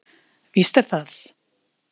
Víst er það.